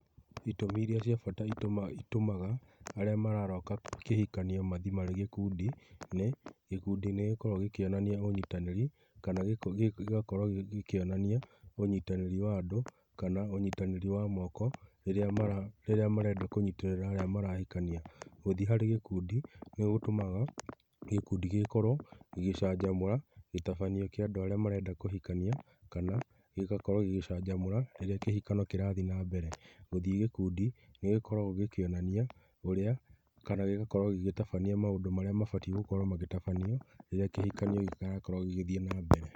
Itumi iria cia bata itũmaga arĩa mararoka kĩhikanio mathiĩ marĩ gĩkundi nĩ, gĩkundi nĩ gĩkoragwo gĩkĩonania ũnyitanĩri kana gĩgakorwo gĩkĩonania ũnyitanĩri wa andũ kana ũnyitanĩri wa moko rĩrĩa marenda kũnyitĩrĩra arĩa marahikania. Gũthiĩ harĩ gĩkundi nĩ gũtũmaga gĩkundi gĩgĩkorwo gĩgĩcanjamũra gĩtabanio kĩa andũ arĩa marenda kũhikania, kana gĩgakorwo gĩgĩcanjamũra rĩrĩa kĩhikano kĩrathiĩ na mbere. Gũthiĩ gĩkundi nĩ gĩkoragwo gĩkĩonania ũrĩa kana gĩgakorwo gĩgĩtabania maũndũ marĩa mabatiĩ gũkorwo magĩtabanio rĩrĩa kĩhikanio kĩrakorwo gĩgĩthiĩ na mbere.